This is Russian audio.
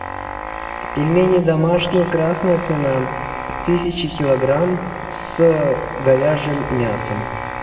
пельмени домашние красная цена тысяча килограмм с говяжьим мясом